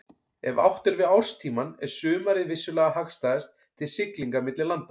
Ef átt er við árstímann er sumarið vissulega hagstæðast til siglinga milli landa.